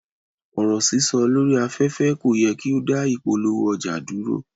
Ọ̀rọ̀ sísọ lórí aféfé ko yẹ ki o da ìpolówó ọjà duro.